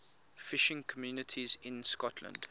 fishing communities in scotland